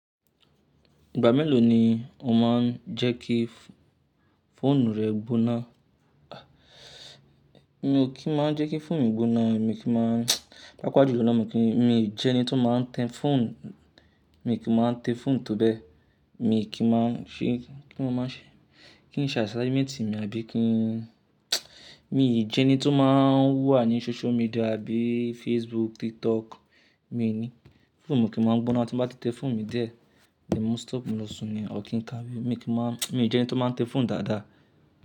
Ìgbà mélòó ni o máa ń jẹ́ kí fóònù rẹ gbóná? Mi ò kí máa ń jẹ́ kí fóònù mi gbóná, mi kí máa ń pàápàá jùlọ na mi kí n, mi jẹ́ ẹni tí ó máa ń tẹ fóònù, mi kí ń máa ń tẹ fóònù tó bẹ́ẹ̀, mi kí ń máa ń ṣe, kí ni mo máa ṣẹ? Kí n ṣe assignment mi àbí kí n mi jẹ́ ẹni tí ó máa ń wà ní social media àbí Facebook, TikTok, mi ni. Fóònù mi o kì máa ń gbóná tí n bá ti tẹ fóònù mi díẹ̀ ni mo stop, mo lọ sùn ni, ọ̀ kí n ka bí? Mi kí máa mi jẹ́ ẹni tí ó máa ń tẹ fóònù dáadáa.